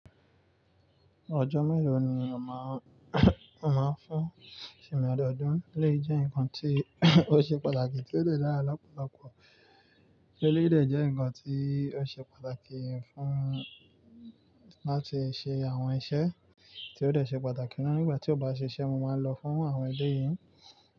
Ojo melo ni won ma n, won ma n fun ajodun, eleyii je n kan ti o se pataki ti o de dara lopolopo, eleyii de je nkan ti o se pataki fun mi lati se awon ise, ti o de se pataki, nigba ti o ba sise, mo maa n lofun awon eleyii.